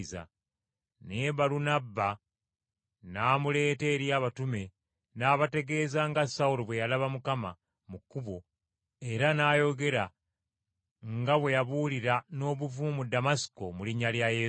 Naye Balunabba n’amuleeta eri abatume n’abategeeza nga Sawulo bwe yalaba Mukama mu kkubo era n’ayogera nga bwe yabuulira n’obuvumu mu Damasiko mu linnya lya Yesu.